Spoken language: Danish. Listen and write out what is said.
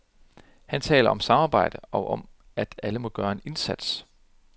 Han taler om samarbejde, og om at alle må gøre en indsats.